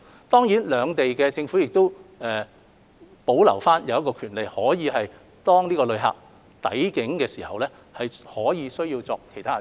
當然，兩地政府亦可以保留權力，要求在旅客抵境時作出其他檢測。